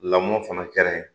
Lamɔ fana kɛra ye